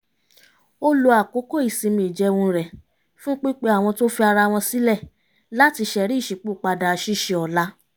ó lo àkókò ìsinmi ìjẹun rẹ̀ fún pípe àwọn tó fi ara wọn sílẹ̀ láti ṣẹ̀rí ìṣípòpadà ṣíṣe ọ̀la